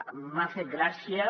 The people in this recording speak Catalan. m’ha fet gràcia